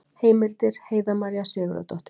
Heimildir Heiða María Sigurðardóttir.